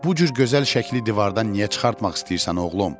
Bu cür gözəl şəkli divardan niyə çıxartmaq istəyirsən, oğlum?